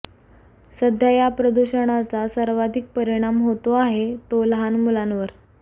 सध्या या प्रदूषणाचा सर्वाधिक परिणाम होतो आहे तो लहान मुलांवर